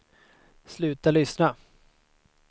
sluta lyssna